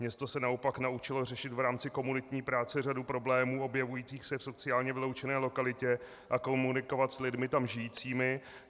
Město se naopak naučilo řešit v rámci komunitní práce řadu problémů objevujících se v sociálně vyloučené lokalitě a komunikovat s lidmi tam žijícími.